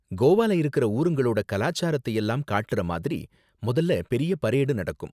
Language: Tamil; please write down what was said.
கோவால இருக்குற ஊருங்களோட கலாச்சாரத்தை எல்லாம் காட்டுற மாதிரி முதல்ல பெரிய பரேடு நடக்கும்.